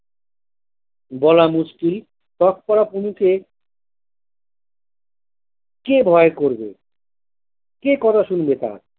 বলা মুশকিল পড়া পুলুকে কে ভয় করবে কে কথা শুনবে তার।